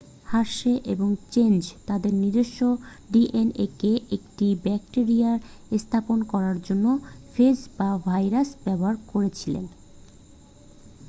Hershey এবং Chase তাদের নিজস্ব ডিএনএকে একটি ব্যাকটিরিয়ায় স্থাপন করার জন্য ফেজ বা ভাইরাস ব্যবহার করেছিল